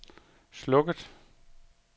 slukket